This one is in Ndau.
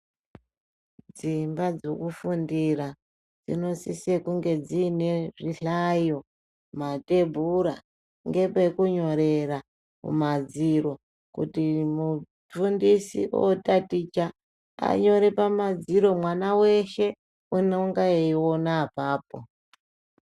Dzimba dzokufundira, dzinosise kunge dziine zvihlayo, mathebhura, ngepekunyorera kumadziro, kuti mufundisi ootaticha, anyore pamadziro, mwana weshe unonga eiona apapo.